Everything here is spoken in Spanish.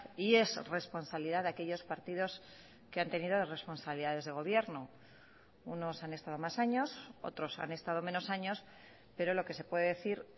y es responsabilidad de aquellos partidos que han tenido responsabilidades de gobierno unos han estado más años otros han estado menos años pero lo que se puede decir